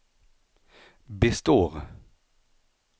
består